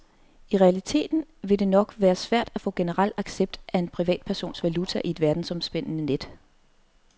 I realiteten vil det dog nok være svært at få general accept af en privatpersons valuta i et verdensomspændende net.